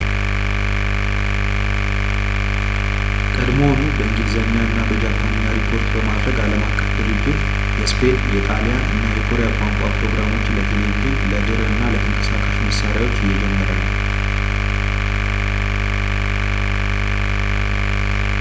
ቀድሞውኑ በእንግሊዝኛ እና በጃፓንኛ ሪፖርት በማድረግ ዓለም አቀፉ ድርጅት የስፔን ፣ የጣሊያን እና የኮሪያ ቋንቋ ፕሮግራሞችን ለቴሌቪዥን ፣ ለድር እና ለተንቀሳቃሽ መሣሪያዎች እየጀመረ ነው